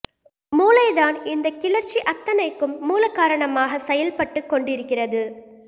மூளை தான் இந்தக் கிளர்ச்சி அத்தனைக்கும் மூல காரணமாகச் செயல்பட்டுக் கொண்டிருக்கிறது